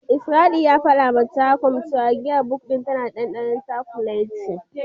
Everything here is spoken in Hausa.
Isaiah ya fadawa Gershom cewa giyar Bok tana da dandanon cakuleti.